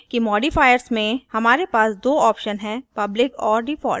ध्यान दें कि modifiers में हमारे पास दो options हैं public और default